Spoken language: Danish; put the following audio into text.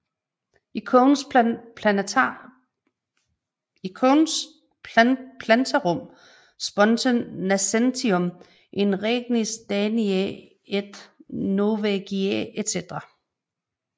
Icones plantarum sponte nascentium in regnis Daniæ et Norvegiæ etc